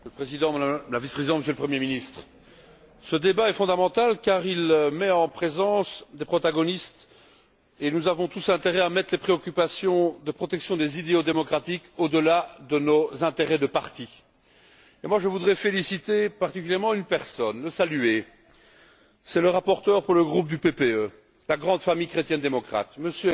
Monsieur le Président, Madame la Vice présidente, Monsieur le Premier ministre, ce débat est fondamental car il met en présence des protagonistes et nous avons tous intérêt à placer les préoccupations de protection des idéaux démocratiques au dessus de nos intérêts de parti. Je voudrais féliciter particulièrement une personne, la saluer, à savoir le rapporteur pour le groupe PPE, la grande famille chrétienne démocrate, M.